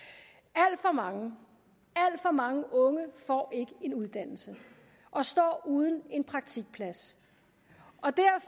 alt for mange unge får ikke en uddannelse og står uden en praktikplads